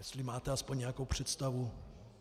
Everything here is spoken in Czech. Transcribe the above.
Jestli máte aspoň nějakou představu.